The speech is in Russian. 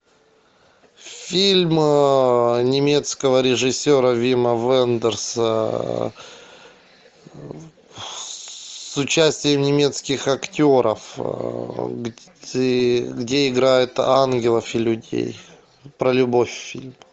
фильм немецкого режиссера вима вендерса с участием немецких актеров где играют ангелов и людей про любовь фильм